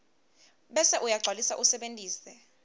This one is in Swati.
bese uyagcwalisa usebentise